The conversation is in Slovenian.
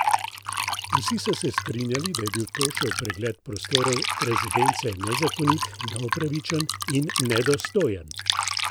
Vsi so se strinjali, da je bil Tošev pregled prostorov rezidence nezakonit, neupravičen in nedostojen.